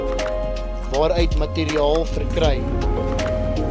waaruit materiaal verkry